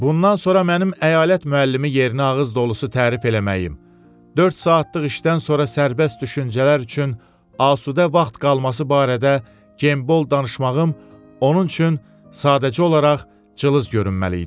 Bundan sonra mənim əyalət müəllimi yerinə ağız dolusu tərif eləməyim, dörd saatlıq işdən sonra sərbəst düşüncələr üçün asudə vaxt qalması barədə Genbol danışmağım onun üçün sadəcə olaraq cılız görünməli idi.